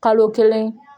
Kalo kelen